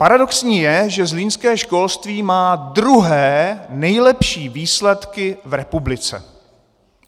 Paradoxní je, že zlínské školství má druhé nejlepší výsledky v republice!